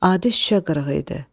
Adi şüşə qırığı idi.